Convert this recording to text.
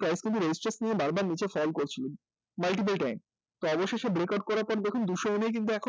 price কিন্তু resistance নিয়ে price কিন্তু বারবার নীচে fall করছিল multiple time তো অবশেষে breakout করার পর দেখুন দুশো em এই কিন্তু এখন